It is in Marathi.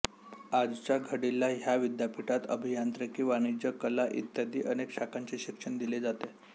आजच्या घडीला ह्या विद्यापीठात अभियांत्रिकी वाणिज्य कला इत्यादी अनेक शाखांचे शिक्षण दिले जाते